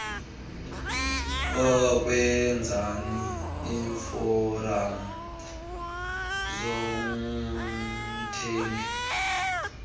ukwenzani iiforam zomthengi